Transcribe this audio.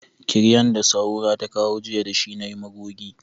Kiryan da Sahura ta kawo jiya da shi na yi magogi.